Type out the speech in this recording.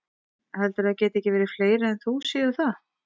Heldurðu að það geti ekki verið að fleiri en þú séu það?